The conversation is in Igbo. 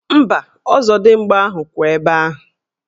Mba, ọzọdimgba ahụ ka kwụ ebe ahụ.